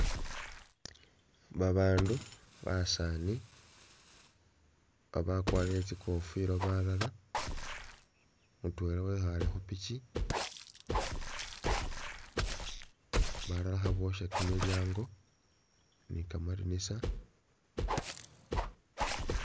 Ba bandu basani abakwarire tsikofila balala mutwela wekhale khupikyi balala khabosha kyimilyango ni kamadinisa.